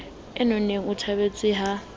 e nonneng o thabetse ha